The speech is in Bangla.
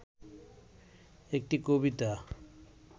একটি কবিতা